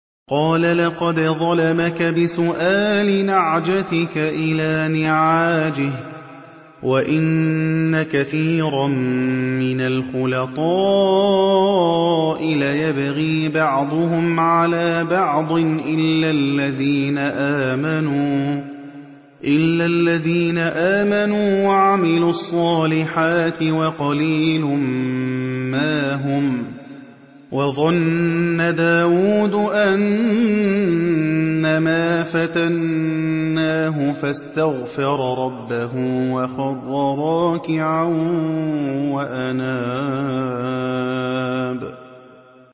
قَالَ لَقَدْ ظَلَمَكَ بِسُؤَالِ نَعْجَتِكَ إِلَىٰ نِعَاجِهِ ۖ وَإِنَّ كَثِيرًا مِّنَ الْخُلَطَاءِ لَيَبْغِي بَعْضُهُمْ عَلَىٰ بَعْضٍ إِلَّا الَّذِينَ آمَنُوا وَعَمِلُوا الصَّالِحَاتِ وَقَلِيلٌ مَّا هُمْ ۗ وَظَنَّ دَاوُودُ أَنَّمَا فَتَنَّاهُ فَاسْتَغْفَرَ رَبَّهُ وَخَرَّ رَاكِعًا وَأَنَابَ ۩